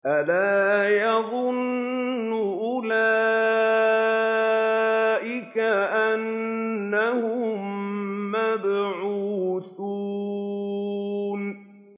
أَلَا يَظُنُّ أُولَٰئِكَ أَنَّهُم مَّبْعُوثُونَ